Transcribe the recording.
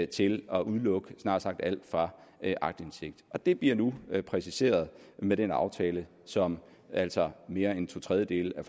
til at udelukke snart sagt alt fra aktindsigt og det bliver nu præciseret med den aftale som altså mere end to tredjedele af